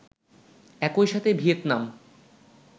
একই সাথে ভিয়েতনাম